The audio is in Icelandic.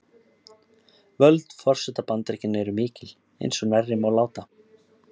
Völd forseta Bandaríkjanna eru mikil, eins og nærri má láta.